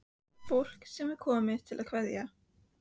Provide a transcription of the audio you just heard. Fólk sem er komið til að kveðja.